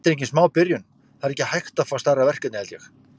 Þetta er engin smá byrjun, það er ekki hægt að fá stærra verkefni held ég.